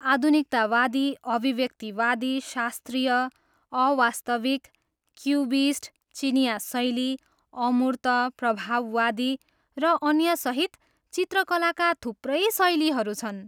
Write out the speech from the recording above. आधुनिकतावादी, अभिव्यक्तिवादी, शास्त्रीय, अवास्तविक, क्युबिस्ट, चिनियाँ शैली, अमूर्त, प्रभाववादी, र अन्यसहित चित्रकलाका थुप्रै शैलीहरू छन्।